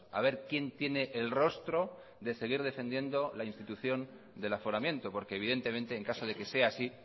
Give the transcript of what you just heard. a ver quién tiene el rostro de seguir defendiendo la institución del aforamiento porque evidentemente en caso de que sea así